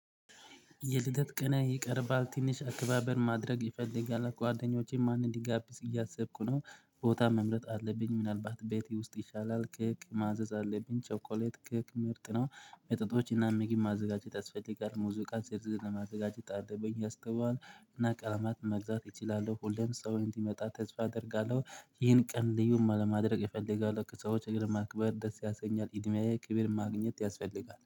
የልደት ቅንህ ይቀርባል ትንሽ አክባበር ማድረግ ይፈልጋል ጓደኞቼ ማንን ልጋብዝ እያሰብኩ ነው ቦታ መምረጥ አለብኝ ምናልባት ቤቴ ውስጥ ይሻላል ኬክ ማዘዝ አለብኝ ቸኮሌት ክኬ ምርጥ ነው መጠጦችና ምግብ ማዘጋጀት ያስፈልጋል ሙዚቃ ዝርዝር ማዘጋጀት አለበኝ። እና ቀለማት መግዛት እችላለሁ ሁሌም ሰው እንደሚመጣ ተስፋ አደርጋለሁ። ይህን ቀን ልዩም ለማድረግ እፈልጋለሁ ሰዎችን ማክበር ደስ ያሰኛል እድሜዬ ክብር ማግኘት ያስፈልጋል